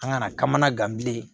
An kana kamanagan bilen